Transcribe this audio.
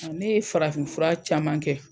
Ɔ ne ye farafin fura caman kɛ.